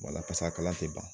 Wala paseke a kalan tɛ ban.